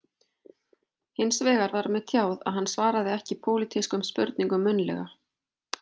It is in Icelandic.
Hins vegar var mér tjáð að hann svaraði ekki pólitískum spurningum munnlega